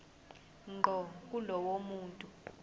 ngqo kulowo muntu